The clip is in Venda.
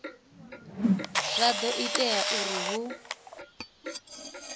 zwa do ita uri hu